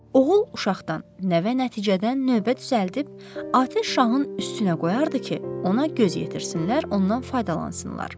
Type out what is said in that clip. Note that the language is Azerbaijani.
Oğul uşaqdan, nəvə nəticədən növbə düzəldib, atəş şahın üstünə qoyardı ki, ona göz yetirsinlər, ondan faydalansınlar.